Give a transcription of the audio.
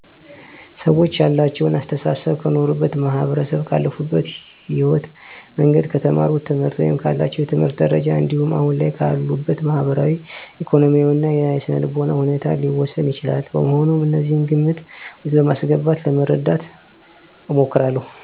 ሰወች ያላቸው አሰተሳሰብ ከኖሩበት ማህበረሰብ፣ ካለፉበት የህይወት መንገድ፣ ከተማሩት ትምህርት ወይም ካላቸው የትምህርት ደረጃ እንዲሁም አሁን ላይ ካሉበት ማህበራዊ፣ ኢኮኖሚያዊ እና የስነልቦና ሁኔታ ሊወሰን ይችላል። በመሆኑም እነዚህን ግምት ውስጥ በማስገባት ለመረዳት እሞክራለሁ።